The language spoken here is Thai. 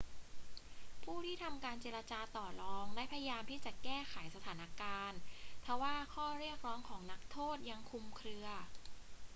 ผู้ที่ทำการเจรจาต่อรองได้พยายามที่จะแก้ไขสถานการณ์ ทว่าข้อเรียกร้องของนักโทษยังคลุมเครือ